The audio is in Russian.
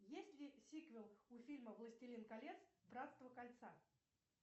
есть ли сиквел у фильма властелин колец братство кольца